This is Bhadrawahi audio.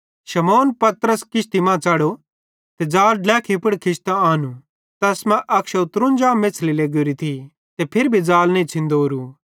शमौन पतरस किश्ती मां च़ढ़ो ते ज़ाल ड्लेखी पुड़ खिचतां आनू ज़ैस मां 153 मेछ़ली लेगोरी थी ते फिरी भी ज़ाल नईं छ़ींदोरू